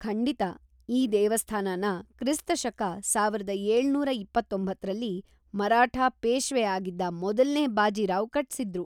ಖಂಡಿತಾ. ಈ ದೇವಸ್ಥಾನನ ಕ್ರಿಸ್ತ ಶಕ ಸಾವಿರದ ಏಳುನೂರ ಇಪ್ಪತೊಂಬತ್ತರಲ್ಲಿ, ಮರಾಠ ಪೇಶ್ವೆ ಆಗಿದ್ದ ಮೊದಲ್ನೇ ಬಾಜಿರಾವ್ ಕಟ್ಸಿದ್ರು.